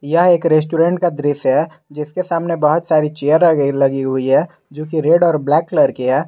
यह एक रेस्टोरेंट का दृश्य है जिसके सामने बहुत सारी चेयर गई लगी हुई है जो की रेड और ब्लैक कलर की है।